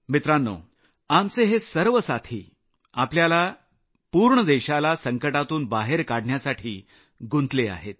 मित्रांनो आमचे हे सर्व साथी आपल्याला पूर्ण देशाला संकटातून बाहेर काढण्यासाठी गुंतले आहेत